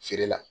Feere la